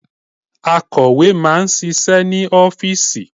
Akọ̀wé máà ń ṣiṣẹ́ ní ọ́fìsì.